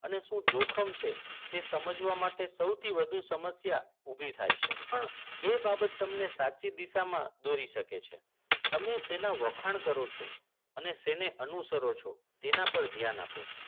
અને શું જોખમ છે તે સમજવા માટે સૌથી વધુ સમસ્યા ઊભી થાય છે પણ એ બાબત તમને સાચી દિશામાં દોરી શકે છે તમે શેના વખાણ કરો છો અને છે ને અનુસરો છો તેના પર ધ્યાન આપો